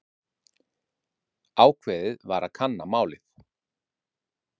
Ákveðið var að kanna málið.